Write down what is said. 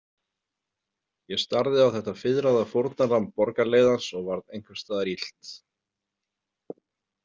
Ég starði á þetta fiðraða fórnarlamb borgarleiðans og varð einhvers staðar illt.